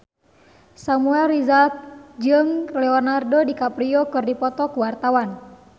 Samuel Rizal jeung Leonardo DiCaprio keur dipoto ku wartawan